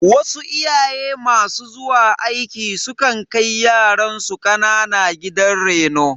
Wasu iyaye masu zuwa aiki su kan kai yaransu kanana gidan reno.